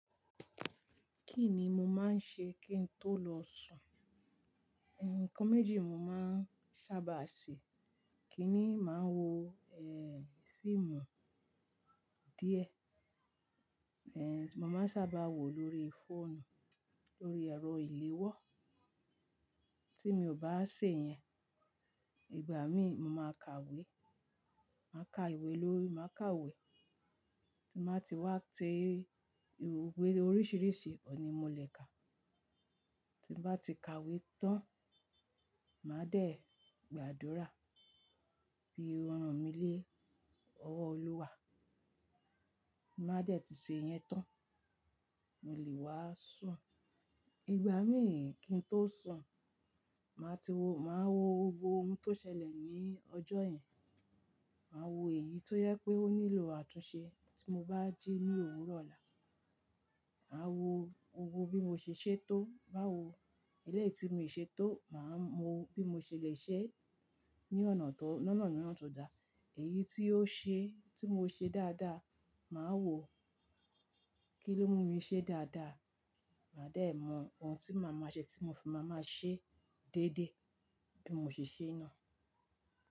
Kí ni mo máa ń ṣe kí n tó lọ sùn? Ǹkan méjì mo máa ń sábà ṣe. Ikínni màá wo fíìmù díẹ̀ tí mo máa ń sábà wò lórí fóònù lórí ẹ̀rọ ìléwọ́, tí mi ò bá ṣe yẹn, ìgbà mí mo máa kàwé. Màá ka ìwé lórí, màá kàwé tí màá ti wá tẹ ìwé oríṣìíríṣìí ọ̀un ní mo le kà. Tí bà tí kàwé tán, màá dẹ̀ gbàdúrà bí ọ̀ràn mí lé ọwọ́ Olúwa. Màá dẹ̀ ti ṣe yẹn tán, mo lè wá sùn. Ìgbà mí kí n tó sùn, màá ti wo, màá wo gbogbo ohun tó ṣẹlẹ̀ ní ọjọ́ yẹn. Màá wo èyí tó jẹ pé ó nílò àtúnṣe tí mo bá jí ní òwuro ọ́la. Màá wo gbogbo bí mo ṣe ṣe tó báwo eléyìí tí mi ṣe tó, màá mọ bí mo ṣe le ṣe é ní ọ̀nà tó, lọ́nà mìíràn tó dáa. Èyí tí ó ṣe, tí mo ṣe dáadáa, màá wò kíló mú mi ṣe dáadáa, màá dẹ̀ mọ ohun tí màá máa ṣe tí mo fi máa máa ṣe déédé bí mo ṣe ṣe ná.